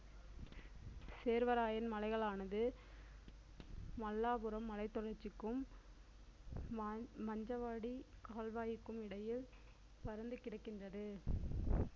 சேர்வராயன் மலைகளானது மல்லாபுரம் மலைத்தொடர்ச்சிக்கும் மா~ மஞ்சவாடிக் கால்வாயிக்கும் இடையில் பரந்து கிடக்கின்றது